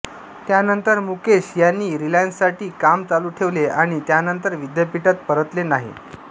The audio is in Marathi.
त्यानंतर मुकेश यांनी रिलायन्ससाठी काम चालू ठेवले आणि त्यानंतर विद्यापीठात परतले नाही